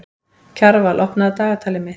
Kjarval, opnaðu dagatalið mitt.